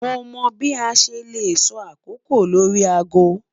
Mo mọ bi a ṣe le sọ akoko lori aago